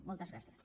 moltes gràcies